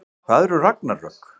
Hvað eru ragnarök?